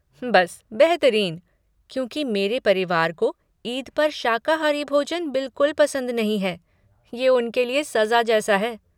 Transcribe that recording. बस बेहतरीन, क्योंकि मेरे परिवार को ईद पर शाकाहारी भोजन बिलकुल पसंद नहीं है, ये उनके लिए सज़ा जैसा है।